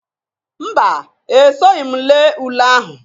Mba! Esoghi m lee ule ahụ.